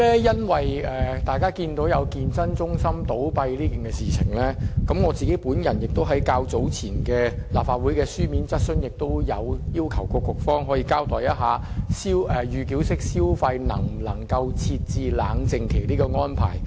因應健身中心倒閉的事件，我在較早前亦提出書面質詢，要求當局交代，能否就預繳式消費設置冷靜期的安排。